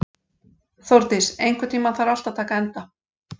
Þórdís, einhvern tímann þarf allt að taka enda.